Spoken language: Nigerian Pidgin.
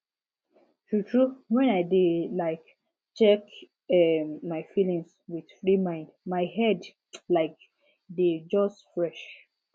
true true when i dey um check um my feelings with free mind my head um just dey fresh